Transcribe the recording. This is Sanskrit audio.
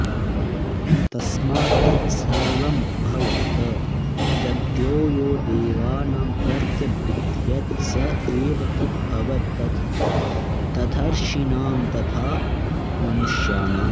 तस्मात्तत्सर्वमभवत् तद्यो यो देवानां प्रत्यबुध्यत स एव तदभवत् तथर्षीणां तथा मनुष्याणाम्